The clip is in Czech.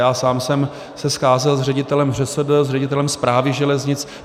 Já sám jsem se scházel s ředitelem ŘSD, s ředitelem Správy železnic.